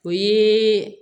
O ye